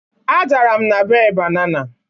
adara m na bee banana